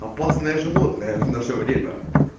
опасное животное в наше время